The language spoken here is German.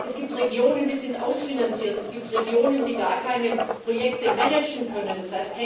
Es gibt Regionen, die sind ausfinanziert, es gibt Regionen, die gar keine Projekte managen können, d.